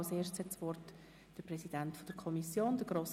Zuerst hat der Präsident der FiKo, Grossrat Bichsel, das Wort.